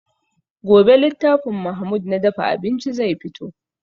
Gobe littafin mahmud na dafa abinci zai fito